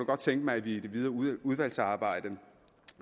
godt tænke mig at vi i det videre udvalgsarbejde